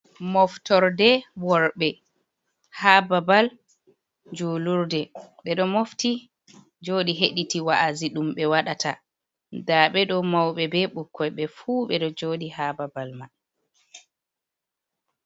moftorde worɓe ha babal julurde bedo mofti jodi hediti wa'azi dum be wadata da bedo maube be bukkoi be fu bedo jodi ha babal man